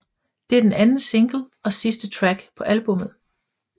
Det er den anden single og sidste track på albummet